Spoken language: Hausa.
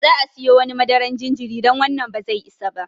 Za'a siyo wani madaran jinjiri don wannan ba zai isa ba.